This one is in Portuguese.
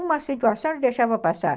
Uma acentuação ele deixava passar.